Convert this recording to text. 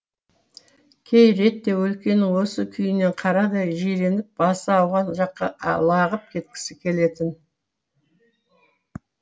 кей ретте өлкенің осы күйінен қарадай жиреніп басы ауған жаққа лағып кеткісі келетін